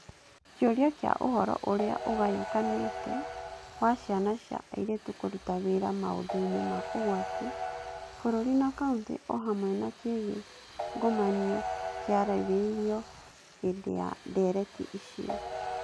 Kĩũria kĩa ũhoro ũrĩa ũgayũkanĩte wa ciana cia airĩtu kũruta wĩra maũndũinĩ ma ũgwati - bũrũri na kaunti o hamwe na kĩgiĩ ngomanio - kĩarĩrĩirio hĩndĩ ya ndeereti icio.